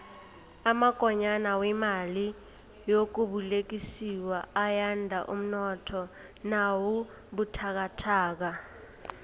amakonyana wemali yokubolekiswa ayanda umnotho nawubuthakathaka